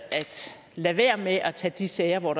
lade være med at tage de sager hvor